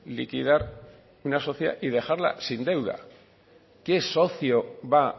liquidar una sociedad y dejarla sin deuda qué socio va